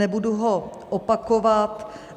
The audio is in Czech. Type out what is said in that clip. Nebudu ho opakovat.